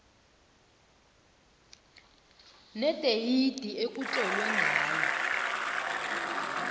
nedeyidi ekutlolwe ngayo